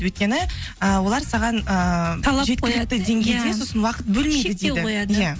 өйткені ы олар саған ыыы сосын уақыт бөлмейді иә